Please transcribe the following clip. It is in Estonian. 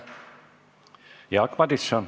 Jaak Madison.